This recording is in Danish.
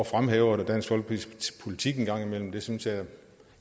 fremhæve dansk folkepartis politik jeg synes da